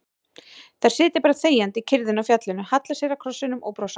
Þær sitja bara þegjandi í kyrrðinni á fjallinu, halla sér að krossinum og brosa.